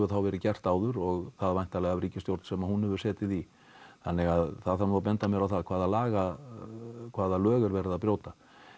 þá verið gert áður og þá væntanlega af ríkisstjórn sem hún hefur setið í þannig að það þarf að benda mér á það hvaða hvaða lög er verið að brjóta